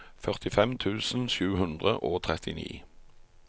førtifem tusen sju hundre og trettini